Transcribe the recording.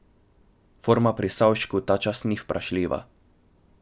Forma pri Savšku ta čas ni vprašljiva.